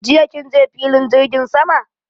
Jiya kin je filin jirgin sama?